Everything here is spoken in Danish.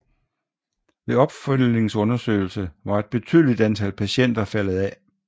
Ved opfølgningsundersøgelse var et betydeligt antal patienter faldet af